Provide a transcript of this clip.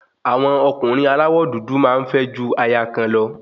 Àwọn ọkùnrin aláwọ̀ dúdú máa ń fẹ́ ju aya kan lọ